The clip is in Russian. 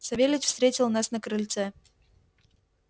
савельич встретил нас на крыльце